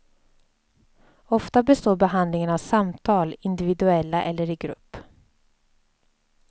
Ofta består behandlingen av samtal, individuella eller i grupp.